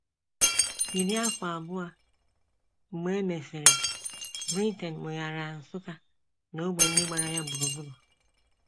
Iri afọ abụọ mgbe e mesịrị, Britain weghaara Nsukka na ógbè ndị gbara ya gburugburu.